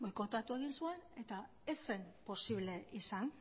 boikoteatu egin zuen eta ez zen posible izan